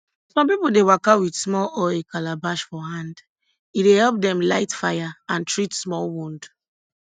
some pipo dey waka with small oil calabash for hand e dey help dem light fire and treat small wound